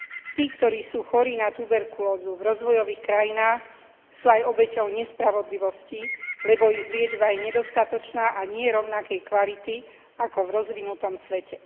Tí, ktorí sú chorí na tuberkulózu v rozvojových krajinách, sú aj obeťou nespravodlivosti, lebo ich liečba je nedostatočná a nie rovnakej kvality ako v rozvinutom svete.